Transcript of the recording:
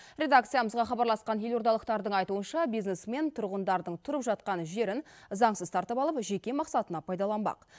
редакциямызға хабарласқан елордалықтардың айтуынша бизнесмен тұрғындардың тұрып жатқан жерін заңсыз тартып алып жеке мақсатына пайдаланбақ